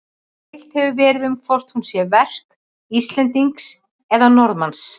Deilt hefur verið um hvort hún sé verk Íslendings eða Norðmanns.